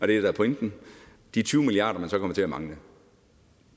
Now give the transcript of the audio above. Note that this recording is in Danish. det der er pointen de tyve milliard kr man så kommer til at mangle